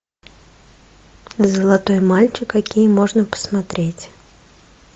золотой мальчик какие можно посмотреть